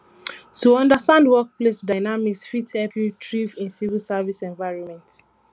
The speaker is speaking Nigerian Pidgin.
to understand workplace dynamics fit help you thrive in civil service environment